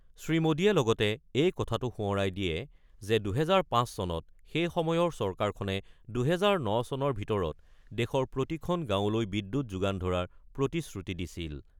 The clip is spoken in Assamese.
শ্ৰীমোদীয়ে লগতে এই কথাটো সোঁৱৰাই দিয়ে যে, ২০০৫ চনত সেই সময়ৰ চৰকাৰখনে ২০০৯ চনৰ ভিতৰত দেশৰ প্ৰতিখন গাঁৱলৈ বিদ্যুৎ যোগান ধৰাৰ প্ৰতিশ্ৰুতি দিছিল।